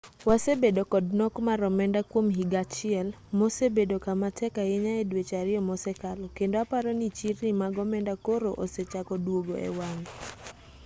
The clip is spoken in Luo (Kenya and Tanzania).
wasebedo kod nok mar omenda kwom higa achiel mosebedo kama tek ahinya e dweche ariyo mosekalo kendo aparo ni chirni mag omenda koro osechako duogo e wang'e